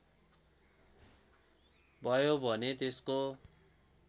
भयो भने त्यसको